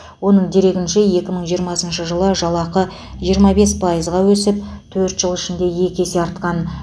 оның дерегінше екі мың жиырмасыншы жылы жалақы жиырма бес пайызға өсіп төрт жыл ішінде екі есе артқан